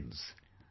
Friends,